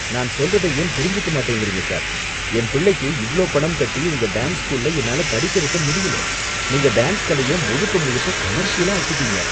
நான் சொல்றத ஏன் புரிஞ்சுக்க மாட்டேங்கிறீங்க சார் என் பிள்ளைக்கு இவ்ளோ பணம் கட்டி உங்க டான்ஸ் ஸ்கூல்ல என்னால படிக்க வைக்க முடியல, நீங்க டான்ஸ் கலைய முழுக்க, முழுக்க கமர்ஷியலா ஆக்கிட்டீங்க.